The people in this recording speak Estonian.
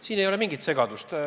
Siin ei ole mingit segadust.